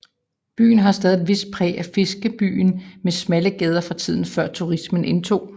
Byen har stadig et vist præg af fiskerbyen med smalle gader fra tiden før turismens indtog